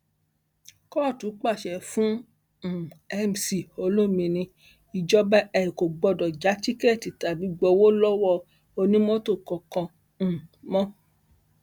kóòtù pàṣẹ fún um mc olomini ìjọba e ò gbọdọ já tíkẹẹtì tàbí gbowó lọwọ onímọtò kankan um mọ